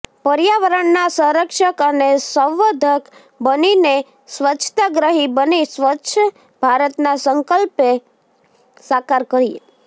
પર્યાવરણના સંરક્ષક અને સંવર્ધક બનીને સ્વચ્છાગ્રહી બની સ્વચ્છ ભારતના સંકલ્પને સાકાર કરીએ